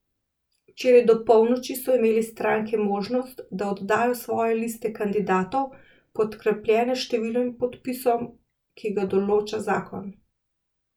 Včeraj do polnoči so imele stranke možnost, da oddajo svoje liste kandidatov, podkrepljene s številom podpisov, ki ga določa zakon.